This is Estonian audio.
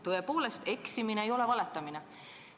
Tõepoolest, eksimine ei ole valetamine.